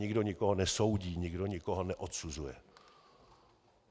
Nikdo nikoho nesoudí, nikdo nikoho neodsuzuje.